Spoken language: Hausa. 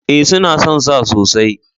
E, suna son sa sosai.